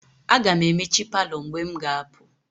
Aga m emechi palọ mgbe m ga-apụ.